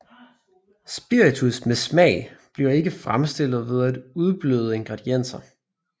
Spiritus med smag bliver ikke fremstillet ved at udbløde ingredienser